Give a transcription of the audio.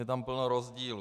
Je tam plno rozdílů.